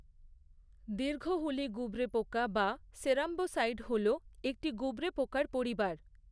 দীর্ঘহুলী গুবরেপোকা বা সেরাম্বসাইড হলো একটি গুবরেপোকার পরিবার।